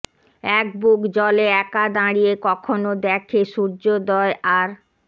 এক বুক জলে একা দাঁড়িয়ে কখনো দ্যাখে সূর্যোদয় আর